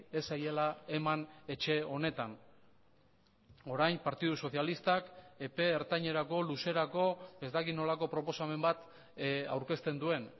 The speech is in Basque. ez zaiela eman etxe honetan orain partidu sozialistak epe ertainerako luzerako ez dakit nolako proposamen bat aurkezten duen